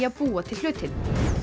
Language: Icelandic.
að búa til hlutinn